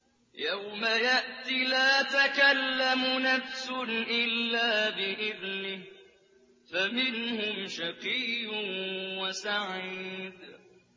يَوْمَ يَأْتِ لَا تَكَلَّمُ نَفْسٌ إِلَّا بِإِذْنِهِ ۚ فَمِنْهُمْ شَقِيٌّ وَسَعِيدٌ